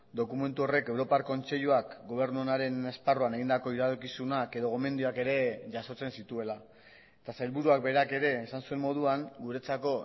dokumentu horrek europar kontseiluak gobernu onaren esparruan egindako iradokizunak edo gomendioak ere jasotzen zituela eta sailburuak berak ere esan zuen moduan guretzako